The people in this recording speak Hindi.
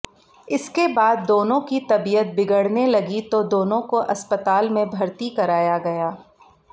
इसके बाद दोनों की तबियत बिगड़ने लगी तो दोनों को अस्पताल में भर्ती कराया गया